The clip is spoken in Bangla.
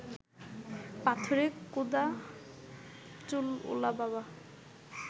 পাথরে কোঁদা চুলওলা বাবা